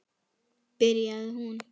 byrjaði hún.